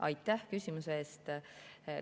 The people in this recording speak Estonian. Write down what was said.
Aitäh küsimuse eest!